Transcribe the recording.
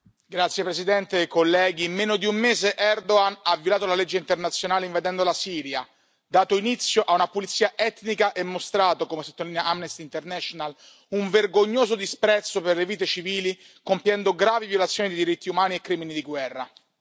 Signora Presidente, onorevoli colleghi, in meno di un mese Erdogan ha violato la legge internazionale invadendo la Siria, dato inizio a una pulizia etnica e mostrato, come sottolinea Amnesty International, un vergognoso disprezzo per le vite civili, compiendo gravi violazioni dei diritti umani e crimini di guerra.